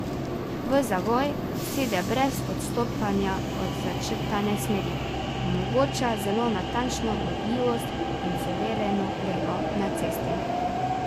V zavoj sede brez odstopanja od začrtane smeri, omogoča zelo natančno vodljivost in suvereno lego na cesti.